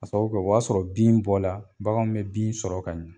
A sababu kɛ o b'a sɔrɔ bin bɔla, baganw bɛ bin sɔrɔ ka ɲɛ.